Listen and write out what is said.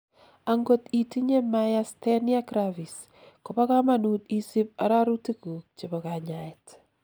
angot itinyei myasthenia gravis, kobo kamanut isib arorutikguk chebo kanyaet